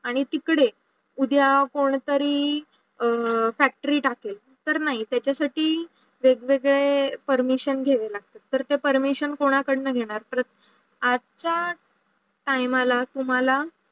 आणी तुकडे उद्या कोणतरी factory टाकेल तर नाही त्याचा साठी वेग वेगडे permission घेयावे लागतात. तर ते permission कोणा कडे घेणार? आजचा टीमला तुम्हाला